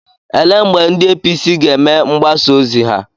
Ele mgbe ndị APC ga-eme mgbasa ozi ha?